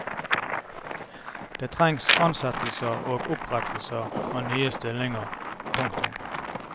Det trengs ansettelser og opprettelser av nye stillinger. punktum